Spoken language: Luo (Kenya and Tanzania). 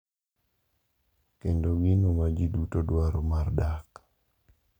kendo gino ma ji duto dwaro mar dak,